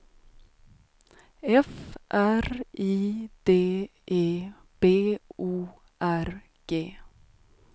F R I D E B O R G